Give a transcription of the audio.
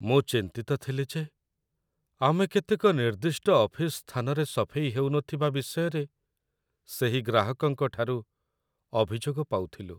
ମୁଁ ଚିନ୍ତିତ ଥିଲି ଯେ ଆମେ କେତେକ ନିର୍ଦ୍ଦିଷ୍ଟ ଅଫିସ୍ ସ୍ଥାନରେ ସଫେଇ ହେଉନଥିବା ବିଷୟରେ ସେହି ଗ୍ରାହକଙ୍କଠାରୁ ଅଭିଯୋଗ ପାଉଥିଲୁ।